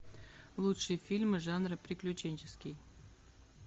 лучшие фильмы жанра приключенческий